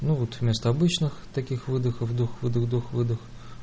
ну вот вместо обычных таких выдоха вдох выдох вдох выдох